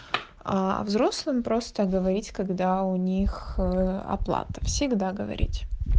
а взрослым просто говорить когда у них э оплата всегда говорить